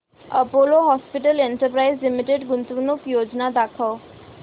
Apollo Hospitals Enterprise Limited गुंतवणूक योजना दाखव